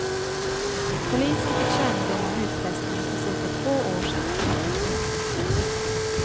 Polisen fick kännedom om utpressningen för cirka två år sedan.